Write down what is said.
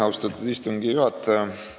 Austatud istungi juhataja!